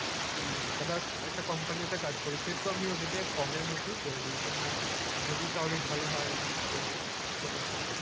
হম others একটা কোম্পানিতে কাজ করি সেহেতু আমি ওদিকে কমের মধ্যে করে দি, যে না যদি কারো ভালো হয় তো সেটাতে,